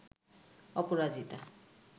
অপরাজিতা